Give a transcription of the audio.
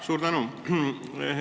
Suur tänu!